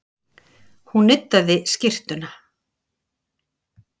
Hún nuddaði skyrtuna.